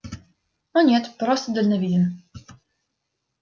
о нет просто дальновиден